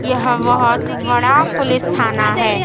यह बहुत बड़ा पुलिस थाना है।